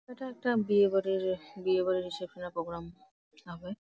এটা একটা বিয়ে বাড়ির বিয়ে বাড়ির রিসেপশন -এর প্রোগ্রাম হবে |